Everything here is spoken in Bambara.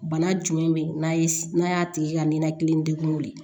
Bana jumɛn be yen n'a n'a y'a tigi ka ninakili ndegunw ye